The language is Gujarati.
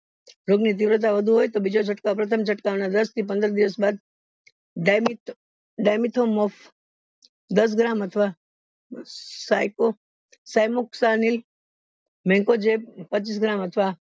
રોગ ની તીવ્રતા વધુ હોય તો બીજો છ્દ્કાવ પ્રથમ છડ્કાવ ના દસ થી પંદર દિવસ બાદ દસ ગ્રામ અથવા મેકોજેબ પચીસ ગ્રામ અથવા